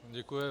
Děkuji.